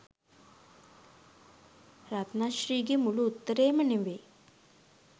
රත්න ශ්‍රී ගේ මුළු උත්තරේම නෙවෙයි